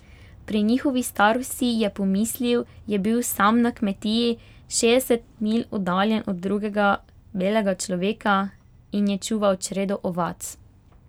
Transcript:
Pri njihovi starosti, je pomislil, je bil sam na kmetiji, šestdeset milj oddaljen od drugega belega človeka, in je čuval čredo ovac.